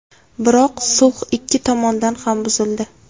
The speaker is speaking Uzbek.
Biroq sulh ikki tomondan ham buzildi.